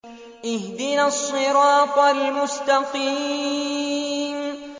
اهْدِنَا الصِّرَاطَ الْمُسْتَقِيمَ